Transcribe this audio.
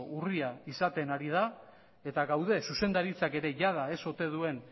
urria izaten ari da eta gaude zuzendaritzak ere jada ez ote duen